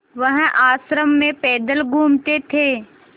वह आश्रम में पैदल घूमते थे